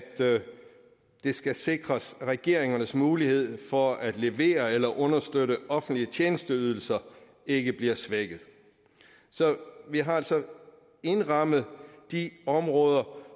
det skal sikres at regeringernes mulighed for at levere eller understøtte offentlige tjenesteydelser ikke bliver svækket så vi har altså indrammet de områder